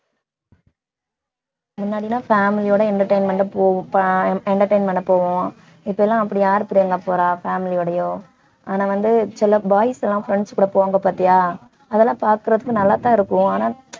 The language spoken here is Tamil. முன்னாடிலாம் family யோட entertainment பண்ண போ~ entertainment பண்ண போவோம் இப்பெல்லாம் அப்படி யாரு பிரியங்கா போறா family யோடயும் ஆனா வந்து சில boys எல்லாம் friends கூட போவாங்க பாத்தியா அதெல்லாம் பாக்கறதுக்கு நல்லாத்தான் இருக்கும் ஆனா